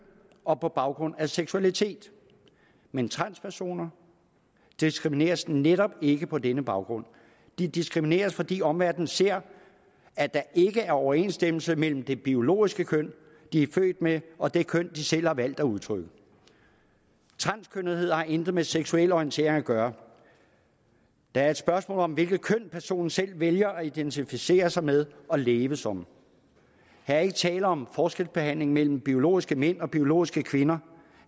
og på baggrund af seksualitet men transpersoner diskrimineres netop ikke på denne baggrund de diskrimineres fordi omverdenen ser at der ikke er overensstemmelse mellem det biologiske køn de er født med og det køn de selv har valgt at udtrykke transkønnethed har intet med seksuel orientering at gøre det er et spørgsmål om hvilket køn personen selv vælger at identificere sig med og leve som her er ikke tale om forskelsbehandling mellem biologiske mænd og biologiske kvinder